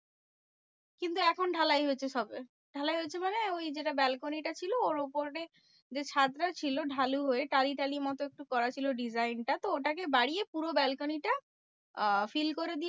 কিন্তু এখন ঢালাই হয়েছে সবে। ঢালাই হয়েছে মানে ওই যেটা balcony টা ছিল ওর উপরে যে ছাদটা ছিল ঢালু হয়ে টালি টালি মতো একটু করা ছিল design টা। তো ওটাকে বাড়িয়ে পুরো balcony টা আহ fill করে দিয়েছে।